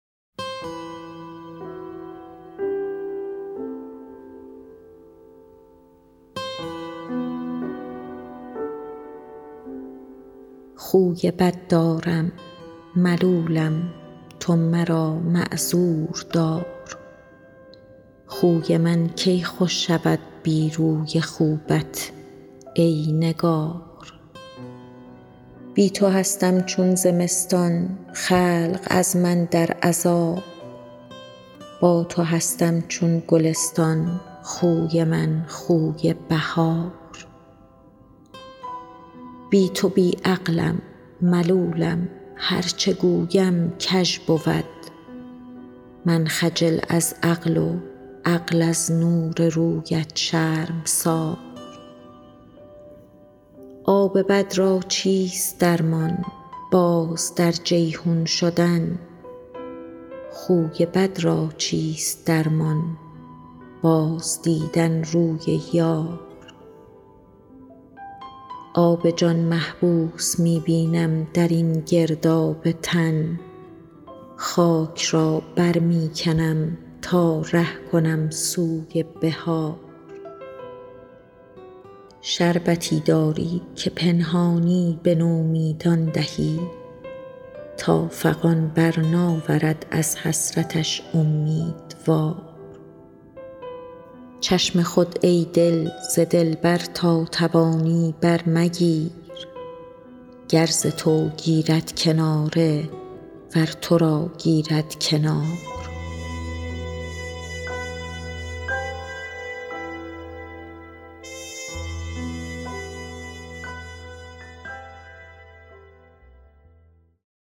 خوی بد دارم ملولم تو مرا معذور دار خوی من کی خوش شود بی روی خوبت ای نگار بی تو هستم چون زمستان خلق از من در عذاب با تو هستم چون گلستان خوی من خوی بهار بی تو بی عقلم ملولم هر چه گویم کژ بود من خجل از عقل و عقل از نور رویت شرمسار آب بد را چیست درمان باز در جیحون شدن خوی بد را چیست درمان بازدیدن روی یار آب جان محبوس می بینم در این گرداب تن خاک را بر می کنم تا ره کنم سوی بحار شربتی داری که پنهانی به نومیدان دهی تا فغان بر ناورد از حسرتش اومیدوار چشم خود ای دل ز دلبر تا توانی برمگیر گر ز تو گیرد کناره ور تو را گیرد کنار